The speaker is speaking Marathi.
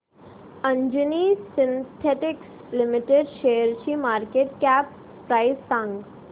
अंजनी सिन्थेटिक्स लिमिटेड शेअरची मार्केट कॅप प्राइस सांगा